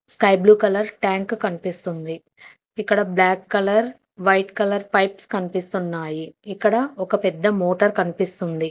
Sky blue colour tank కనిపిస్తుంది ఇక్కడ black colour white colour pipes కనిపిస్తున్నాయి ఇక్కడ ఒక పెద్ద మోటర్ కనిపిస్తుంది.